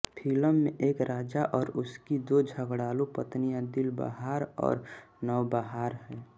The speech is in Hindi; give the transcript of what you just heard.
फिल्म में एक राजा और उसकी दो झगड़ालू पत्नियां दिलबहार और नवबहार है